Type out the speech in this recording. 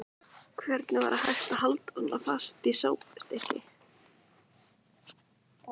Hvernig var hægt að halda fast í svona sápustykki!